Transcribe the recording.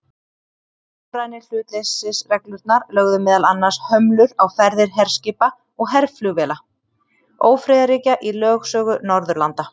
Norrænu hlutleysisreglurnar lögðu meðal annars hömlur á ferðir herskipa og herflugvéla ófriðarríkja í lögsögu Norðurlanda.